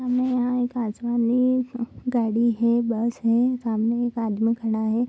हमे यहाँ एक आसमानी गाड़ी है बस है। सामने एक आदमी खड़ा है।